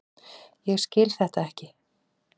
Ég skil þetta ekki!